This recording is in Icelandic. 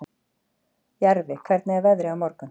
Jarfi, hvernig er veðrið á morgun?